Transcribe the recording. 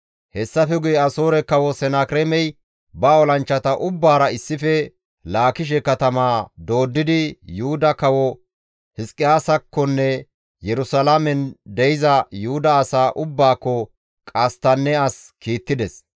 Hessafe guye Asoore Kawo Senakireemey ba olanchchata ubbaara issife Laakishe katamaa dooddidi Yuhuda kawo Hizqiyaasakkonne Yerusalaamen de7iza Yuhuda asaa ubbaakko qasttanne as kiittides.